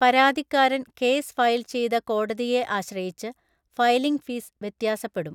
പരാതിക്കാരൻ case file ചെയ്ത കോടതിയെ ആശ്രയിച്ച് ഫയലിംഗ് ഫീസ് വ്യത്യാസപ്പെടും.